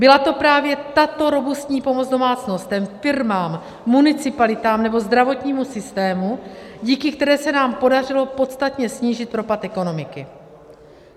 Byla to právě tato robustní pomoc domácnostem, firmám, municipalitám nebo zdravotnímu systému, díky které se nám podařilo podstatně snížit propad ekonomiky.